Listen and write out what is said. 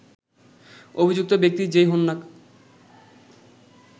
অভিযুক্ত ব্যক্তি যেই হোন না